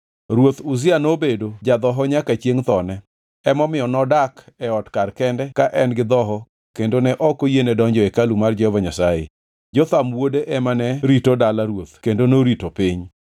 Ruoth Uzia nobedo ja-dhoho nyaka chiengʼ thone, emomiyo nodak e ot kar kende ka en gi dhoho kendo ne ok oyiene donjo e hekalu mar Jehova Nyasaye. Jotham wuode ema ne rito dala ruoth kendo norito piny.